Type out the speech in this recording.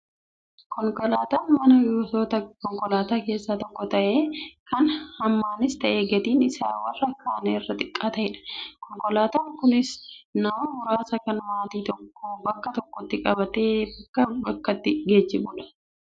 Konkolaataan manaa gosoota konkolaataa keessaa tokko ta'ee, kan hammaanis ta'ee gatiin isaa warra kaan irraa xiqqaa ta'edha. Konkolaataan kunis nama muraasa kan maatii tokko bakka tokkotti qabatee bakkaa bakkatti geejjibudha.